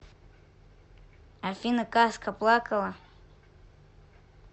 афина казка плакала